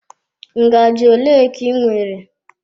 Ngaji ole ka ị nwere?